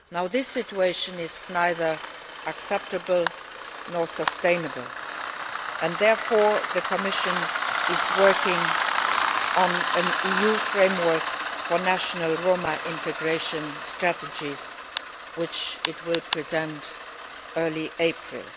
This situation is neither acceptable nor sustainable and therefore, the Commission is working on an EU framework for national Roma integration strategies which it will present in early April.